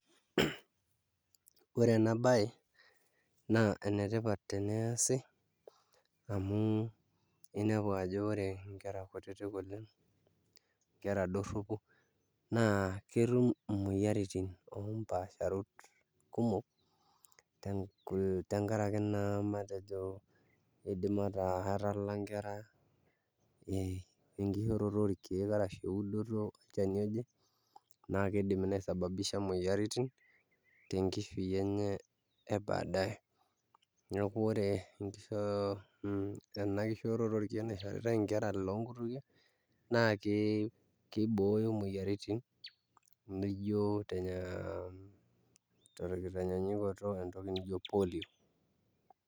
Ore ena baye enetipat teneesi amu iyiolo ajo ore nkera kutitik nkera dorropu naa ketum imoyiaritin oompaasharoto kumok tenkaraki naa matejo enoto nkera ee enkishooroto orkeek ashu eudoto olchani oje naa kiidim nisababisha imoyiaritin tenkishui enye ebadae, neeku ore ena kishooroto naishoritai nkera iloonkutukie naa kibooyo imoyiaritin nijio tenkitanyanyukioto entoki nijio polio.